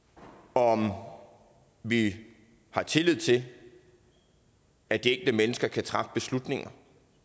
om om vi har tillid til at de enkelte mennesker kan træffe beslutninger